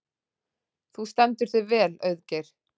Þú stendur þig vel, Auðgeir!